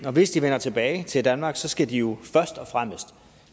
og hvis de vender tilbage til danmark skal de først og fremmest